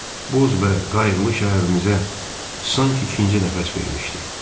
Boz və qayıqlı şəhərimizə sanki ikinci nəfəs vermişdi.